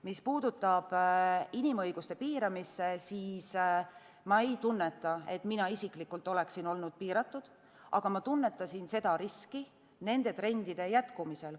Mis puudutab inimõiguste piiramist, siis ma ei tunneta, et mina isiklikult oleksin olnud piiratud, aga ma tunnetasin seda riski nende trendide jätkumisel.